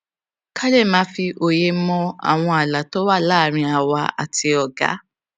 ká lè máa fi òye mọ àwọn ààlà tó wà láàárín àwa àti ọga